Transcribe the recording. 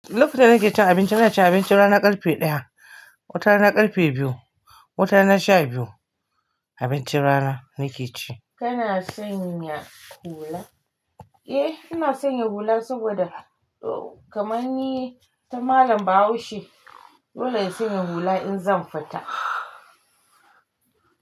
Lokacin da nake cin abinci ina cin abincin rana karfe ɗaya, wata na karfe biyu, wata na sha biyu abincin rana nake ci. Kana sanya hula? Eh ina sanya hula saboda kamar ni ta malam Bahaushe dole na sanya hula in zan fita.